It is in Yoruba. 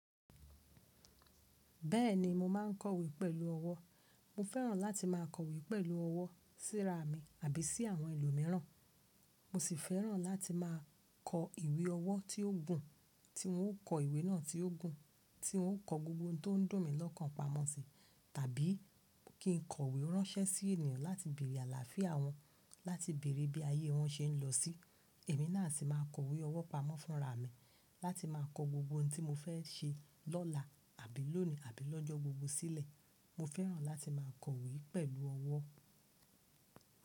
Bẹ́ẹ̀ni mo ma ń kọ̀wé pẹ̀lú ọwọ́. Mo fẹ́ràn láti máa kọ̀wé pẹ̀lú ọwọ́ síra mi àbí sí àwọn èlo mìíràn. Mo sì fẹ́ràn láti máa kọ ìwé ọwọ́ tí ó gùn, tí n ó kọ ìwé náà tí ó gùn, tí n ó kọ gbogbo ohun tó ń dùn mí lọ́kàn pamọ́ si. Tàbí kí n kọ̀wé ránṣẹ́ sí ènìyàn láti bèrè àlàáfíà wọn, láti bèrè bí ayé wọn ṣe ń lọ sí. Èmi náà sì máa kọ ìwé ọwọ́ pamọ́ fúnra mi láti máa kọ gbogbo ohun tí mo fẹ́ ṣe lọ́la àbí lónìí, àbí lọ́jọ́ gbogbo sílẹ̀. Mo fẹ́ràn láti máa kọ̀wé pẹ̀lú ọwọ́.